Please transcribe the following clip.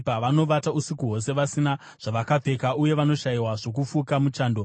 Vashaya nguo, vagovata usiku hwose vasina zvavakapfeka uye vanoshayiwa zvokufuka muchando.